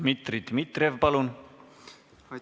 Dmitri Dmitrijev, palun!